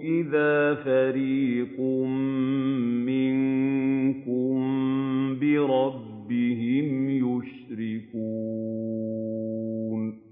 إِذَا فَرِيقٌ مِّنكُم بِرَبِّهِمْ يُشْرِكُونَ